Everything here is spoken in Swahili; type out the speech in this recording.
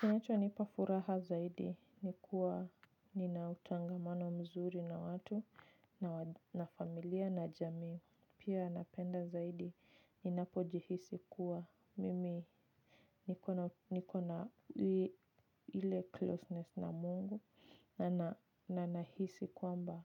Kinachonipa furaha zaidi ni kuwa nina utangamano mzuri na watu na familia na jamii. Pia napenda zaidi ninapojihisi kuwa mimi nikona ile closeness na mungu na nahisi kuamba